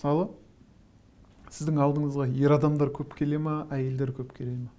мысалы сіздің алдыңызға ер адамдар көп келе ме әйелдер көп келе ме